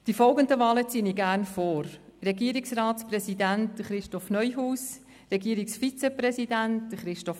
Die folgenden Wahlen ziehe ich gerne vor: Christoph Neuhaus als Regierungsratspräsidenten, Christoph Ammann als Regierungsvizepräsidenten.